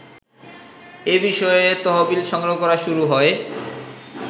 এবিষয়ে তহবিল সংগ্রহ শুরু হয়